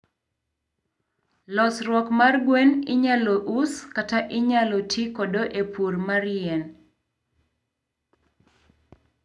losruok mar gwen inyalo us kata inyalo ti kode e pur mar yien.